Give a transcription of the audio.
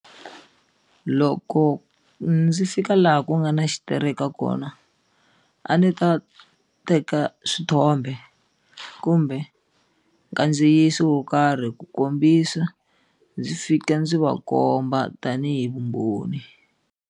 Loko ndzi fika laha ku nga na xitereka kona a ndzi ta teka swithombe kumbe nkadziyiso wo karhi ku kombisa ndzi fika ndzi va komba tanihi vumbhoni.